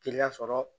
Teliya sɔrɔ